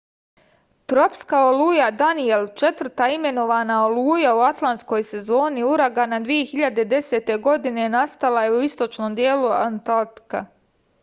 tropska oluja danijel četvrta imenovana oluja u atlantskoj sezoni uragana 2010. godine nastala je u istočnom delu atlantika